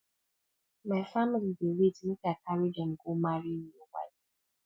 my family dey wait make i carry dem go marry new wife